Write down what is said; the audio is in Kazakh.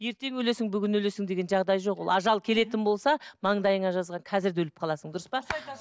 ертең өлесің бүгін өлесің деген жағдай жоқ ол ажал келетін болса маңдайыңа жазған казір де өліп қаласың дүрыс па